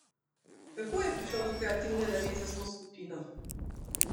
Kako je prišlo do kreativne naveze s to skupino?